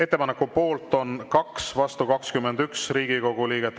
Ettepaneku poolt on 2, vastu 21 Riigikogu liiget.